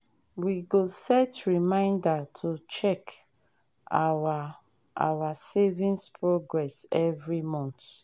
we go set reminder to check our our savings progress every month.